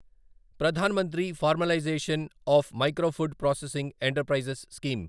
ప్రధాన మంత్రి formalisation of micro food processing enterprises scheme